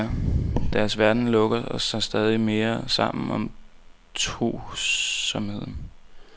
Deres verden lukker sig stadig mere sammen om tosomheden.